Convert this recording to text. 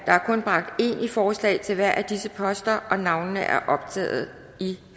er kun bragt én i forslag til hver af disse poster og navnene er optaget i